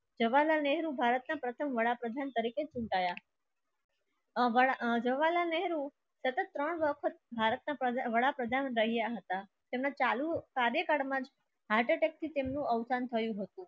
જવાલાલ નેહરુ ભારતના પ્રથમ વડાપ્રધાન તરીકે ચૂંટાયા નહેરુ તથા ત્રણ વખત ભારતના વડાપ્રધાન રહેતા હતા. તેમના ચાલુ કાર્યકાળમાં heart attack ની ચિહ્નનું થી તેમનું અવસાન થયું હતું.